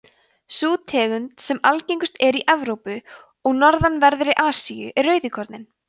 sú tegund sem algengust er í evrópu og norðanverðri asíu er rauðíkorninn